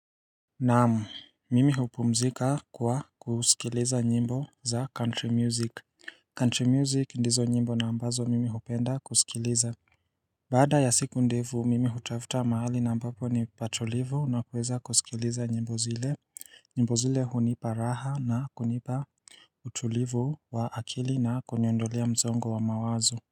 Naam mimi hupumzika kwa kusikiliza nyimbo za country music country music ndizo nyimbo na ambazo mimi hupenda kusikiliza Baada ya siku ndefu mimi hutafuta mahali na ambapo ni patulivu na kuweza kusikiliza nyimbo zile nyimbo zile hunipa raha na kunipa utulivu wa akili na kuniondolea mzongo wa mawazo.